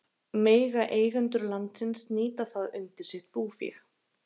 Mega eigendur landsins nýta það undir sitt búfé?